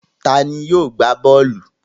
Ta ni yóò gbá bọ́ọ́lù?